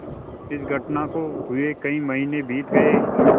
इस घटना को हुए कई महीने बीत गये